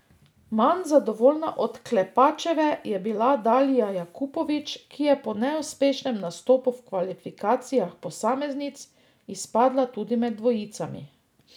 Manj zadovoljna od Klepačeve je bila Dalila Jakupović, ki je po neuspešnem nastopu v kvalifikacijah posameznic izpadla tudi med dvojicami.